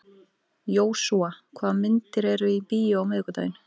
Jósúa, hvaða myndir eru í bíó á miðvikudaginn?